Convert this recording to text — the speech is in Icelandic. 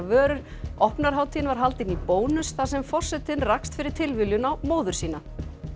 vörur opnunarhátíðin var haldin í Bónus þar sem forsetinn rakst fyrir tilviljun á móður sína